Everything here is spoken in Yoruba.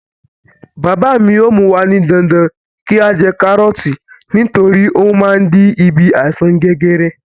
Bàbá mi yóò mú wa ní dandan kí á jẹ kárọ̀ọ̀tì nítorí ó má ń dín bí àìsàn jẹjẹrẹ.